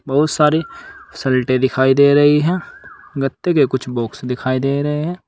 बहुत सारी शर्ट दिखाई दे रही है गत्ते के कुछ बॉक्स दिखाई दे रहे हैं।